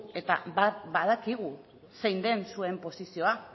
eta badakigu zein den zuen posizioa